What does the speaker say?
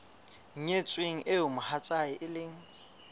nyetsweng eo mohatsae e leng